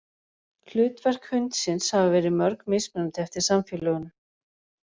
Hlutverk hundsins hafa verið mjög mismunandi eftir samfélögum.